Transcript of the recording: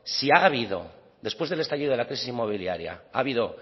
si ha habido después del estallido de la crisis inmobiliaria ha habido